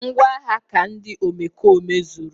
Ngwaagha ha ka ndị omekome zuru